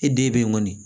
I den be yen kɔni